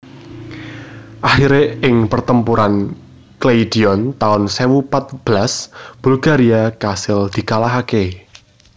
Akhiré ing Pertempuran Kleidion taun sewu pat belas Bulgaria kasil dikalahaké